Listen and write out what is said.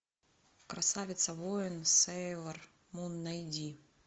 красавица воин сейлор мун найди